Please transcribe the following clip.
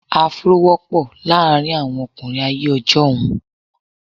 Afro wọ́pọ̀ láàárín àwọn ọkùnrin ayé ọjọ́un.